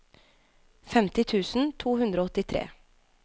femti tusen to hundre og åttitre